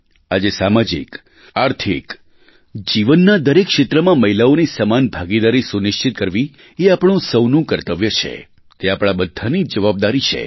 આજે સામાજિક આર્થિક જીવનના દરેક ક્ષેત્રમાં મહિલાઓની સમાન ભાગીદારી સુનિશ્ચિત કરવી એ આપણું સહુનું કર્તવ્ય છે તે આપણા બધાંની જવાબદારી છે